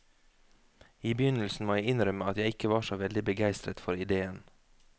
I begynnelsen må jeg innrømme at jeg ikke var så veldig begeistret for idéen.